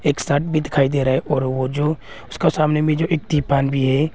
एक शर्ट भी दिखाई दे रहा है और वो जो उसका सामने में जो एक त्रिपान भी है।